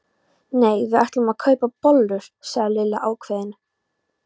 Nei, við ætlum að kaupa bollur sagði Lilla ákveðin.